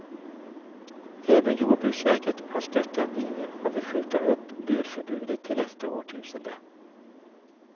Även jordbruksverket har stött den linjen och vill skjuta upp burförbudet till nästa årtusende.